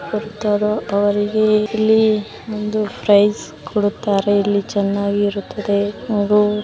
ಇಲ್ಲಿ ಬಂದು ಪ್ರೈಸ್ ಕೂಡ ಕೊಡುತ್ತಾರೆ ಇಲ್ಲಿ ಚೆನ್ನಾಗಿ ಇರುತದೆ --